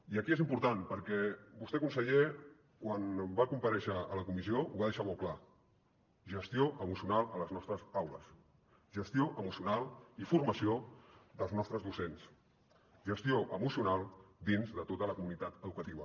i aquí és important perquè vostè conseller quan va comparèixer a la comissió ho va deixar molt clar gestió emocional a les nostres aules gestió emocional i formació dels nostres docents gestió emocional dins de tota la comunitat educativa